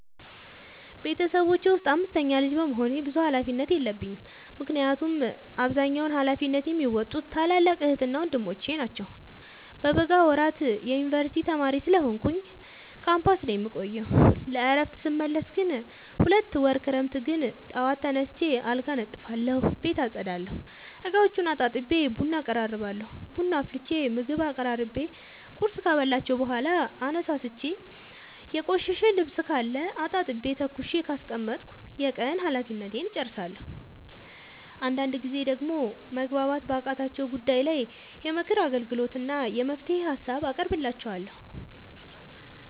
ቤተሰቦቼ ውስጥ አምስተኛ ልጅ በመሆኔ ብዙ ሀላፊነት የለብኝ ምክንያቱን አብዛኛውን ሀላፊነት የሚዎጡት ታላላቅ ዕህትና ወንድሞቼ ናቸው። በበጋ ወራት የዮንበርሲቲ ተማሪ ስለሆንኩኝ ካምፖስ ነው የምቆየው። ለእረፍት ስመለስ ግን ሁለት ወር ክረምት ግን ጠዋት ተነስቼ አልጋ አነጥፋለሁ ቤት አፀዳለሁ፤ እቃዎቹን አጣጥቤ ቡና አቀራርባለሁ ቡና አፍልቼ ምግብ አቀራርቤ ቁርስ ካበላኋቸው በኋላ አነሳስቼ። የቆሸሸ ልብስካለ አጣጥቤ ተኩሼ ካስቀመጥኩ የቀን ሀላፊነቴን እጨርሳለሁ። አንዳንድ ጊዜ ደግሞ መግባባት ባቃታቸው ጉዳይ ላይ የምክር አገልግሎት እና የመፍትሄ ሀሳብ አቀርብላቸዋለሁ።